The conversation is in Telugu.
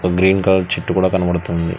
గ్రీన్ కలర్ చెట్టు కూడా కనబడుతుంది.